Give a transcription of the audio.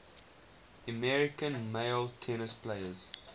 american male tennis players